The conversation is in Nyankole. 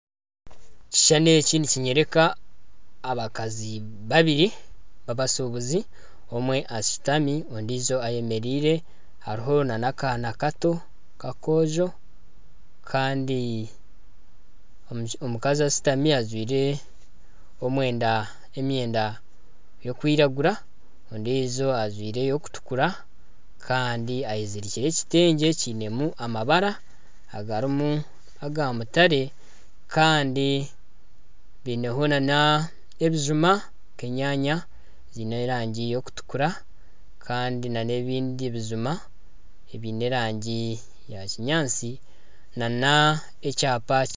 Ekishushani eki nikinyoreka abakazi babiri babashubuzi omwe ashutami ondiijo ayemereire hariho nana akaana Kato kakoojo Kandi omukazi ashutami ajwaire emyenda erikwiragura ondiijo ajwaire erikutukura Kandi ayezirikire ekitengye kiinemu amabara agarimu aga mutare Kandi baineho nana ebijuma nk'enyanya ziine erangi eyokutukura kandi nana ebindi ebijuma ebiine erangi ya kinyaatsi .